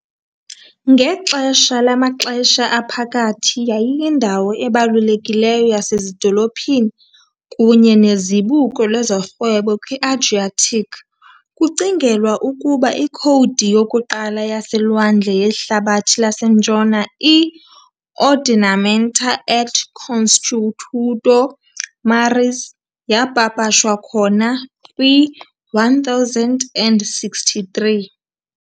Ngexesha lamaXesha Aphakathi yayiyindawo ebalulekileyo yasezidolophini kunye nezibuko lezorhwebo kwi-Adriatic, kucingelwa ukuba ikhowudi yokuqala yaselwandle yehlabathi laseNtshona, i-Ordinamenta et consuetudo maris, yapapashwa khona kwi-1063.